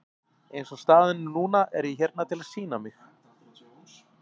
Eins og staðan er núna er ég hérna til að sýna mig.